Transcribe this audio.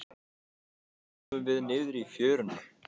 Loks komum við niður í fjöruna.